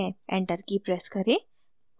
enter की press करें